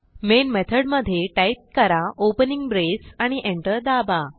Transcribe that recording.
main मेथडमधे type करा opening braceआणि एंटर दाबा